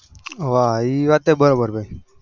વાહ એ વાત એ બરાબર ભાઈ